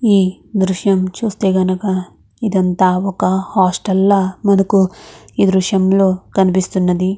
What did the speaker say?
ఎ ద్రుశము చుస్తే మనకు ఇక్కడ ఏది అన్నట వక హోటల్ లాగా కనిపెస్తునది మనకు. ఇక్కడ ఎ ద్రుశము లో కనిపెస్తునది మనకు--